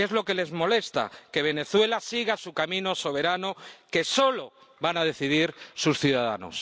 Es lo que les molesta que Venezuela siga su camino soberano que solo van a decidir sus ciudadanos.